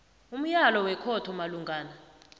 umyalo wekhotho malungana